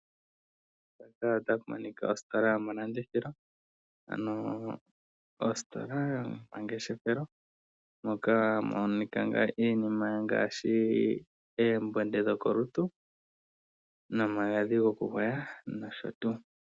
Ositola yomalandithilo nomangeshefelo mono hamu monika iinima ya yooloka ngaashi eembonde dhokolutu nomagadhi gokugwaya nosho tuu.